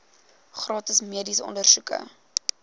gratis mediese ondersoeke